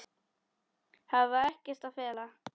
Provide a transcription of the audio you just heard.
Hafa ekkert að fela.